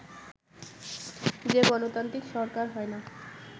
যে গণতান্ত্রিক সরকার হয় না